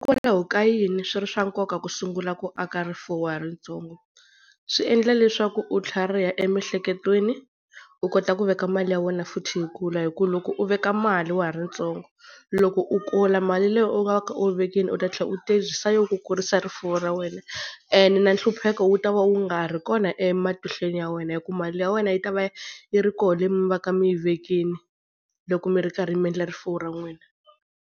Hikwalaho ka yini swi ri swa nkoka ku sungula ku aka rifuwo wa ha ri ntsongo? Swi endla leswaku u tlhariha emiehleketweni, u kota ku veka mali ya wena futhi yi kula hi ku loko u veka mali wa ha ri ntsongo, loko u kula mali leyi u nga kha u yi vekile u ta tlhela u tirhisa yona ku kurisa rifuwo ra wena. Ene na hlupheka wu ta va wu nga ri kona ematihlweni ya wena, hi ku mali ya wena yi ta va yi ri koho leyi mi va ka mi yi vekile loko mi ri karhi mi endla rifuwo ra n'wina.